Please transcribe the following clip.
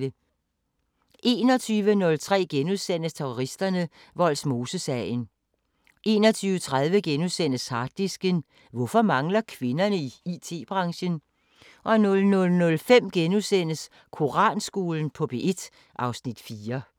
21:03: Terroristerne: Vollsmosesagen * 21:30: Harddisken: Hvorfor mangler kvinderne i IT-branchen? * 00:05: Koranskolen på P1 (Afs. 4)*